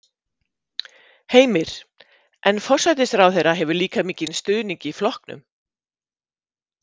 Heimir: En forsætisráðherra hefur líka mikinn stuðning í flokknum?